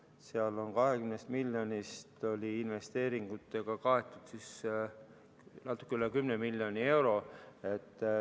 Seal oli 20 miljonist investeeringutega kaetud natuke üle 10 miljoni euro.